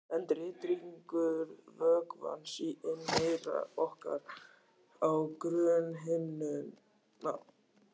En titringur vökvans í inneyra orkar á grunnhimnuna.